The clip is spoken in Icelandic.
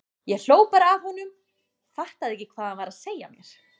Ég hló bara að honum, fattaði ekki hvað hann var að segja mér.